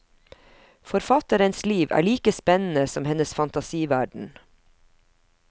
Forfatterens liv er like spennende som hennes fantasiverden.